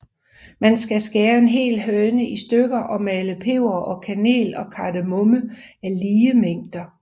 Man skal skære en hel høne i stykker og male peber og kanel og kardemomme af lige mængde